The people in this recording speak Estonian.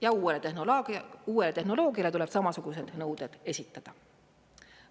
Ja uuele tehnoloogiale tuleb samasugused nõuded esitada.